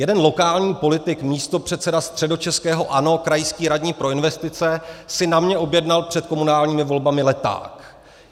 Jeden lokální politik, místopředseda středočeského ANO, krajský radní pro investice, si na mě objednal před komunálními volbami leták.